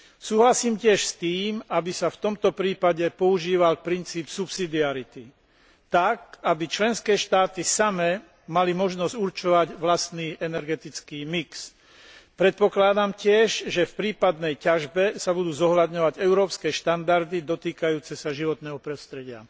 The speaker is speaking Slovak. Súhlasím tiež s tým, aby sa v tomto prípade používal princíp subsidiarity, tak, aby členské štáty samé mali možnosť určovať vlastný energetický mix. Predpokladám tiež, že v prípadnej ťažbe sa budú zohľadňovať európske štandardy dotýkajúce sa životného prostredia.